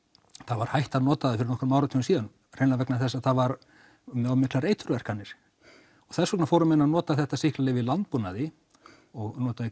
var hætt að nota það fyrir nokkrum áratugum síðan hreinlega vegna þess að það var með miklar eitur verkanir og þess vegna fóru menn að nota þetta sýklalyf í landbúnaði og notuðu